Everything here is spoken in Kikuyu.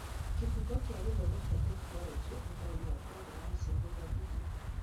Kĩbungo kĩa gĩthomo kĩa tekinoronjĩ , Ũtaũri wa programu cia Gũthomithia